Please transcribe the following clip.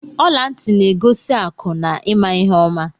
Ọla ntị na-egosi akụ na ịma ihe oma.